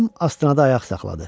Plyum astanada ayaq saxladı.